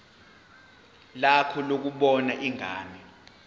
lakho lokubona ingane